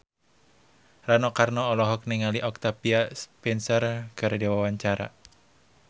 Rano Karno olohok ningali Octavia Spencer keur diwawancara